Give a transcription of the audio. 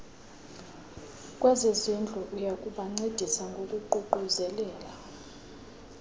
kwezezindlu oyakubancedisa ngokuququzelela